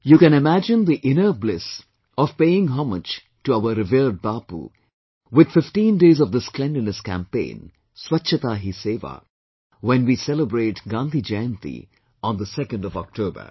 You can imagine the inner bliss of paying homage to our revered Bapu, with fifteen days of this cleanliness campaign, Swachchata Hi Seva, when we celebrate Gandhi Jayanti on the 2nd of October